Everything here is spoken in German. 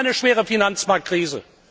Wir haben eine schwere Finanzmarktkrise.